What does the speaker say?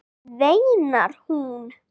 veinar hún.